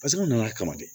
Paseke an nana kama de